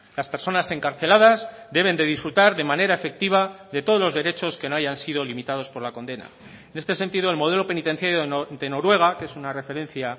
las personas encarceladas deben de disfrutar de manera efectiva de todos los derechos que no hayan sido limitados por la condena en este sentido el modelo penitenciario de noruega que es una referencia